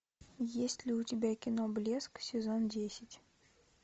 есть ли у тебя кино блеск сезон десять